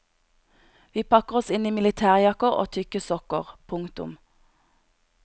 Vi pakker oss inn i militærjakker og tykke sokker. punktum